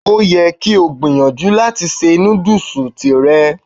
Ó yẹ kí o gbìyànjú láti ṣe nudus tìrẹ.